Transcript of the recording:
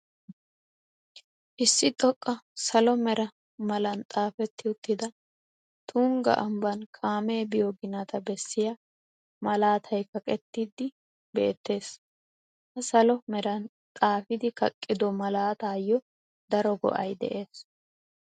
Issi xoqqan salo mera malan xaafetti uttida tungga ambban kaamee biyo ginata bessiya malaatay kaqettidi beettees. Ha salo meran xaafidi kaqqido malataayo daro go'ay dees.